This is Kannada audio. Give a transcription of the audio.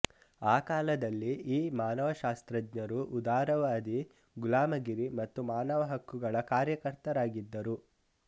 ಆ ಕಾಲದಲ್ಲಿ ಈ ಮಾನವಶಾಸ್ತ್ರಜ್ಞರು ಉದಾರವಾದಿ ಗುಲಾಮಗಿರಿ ಮತ್ತು ಮಾನವಹಕ್ಕುಗಳ ಕಾರ್ಯಕರ್ತರಾಗಿದ್ದರು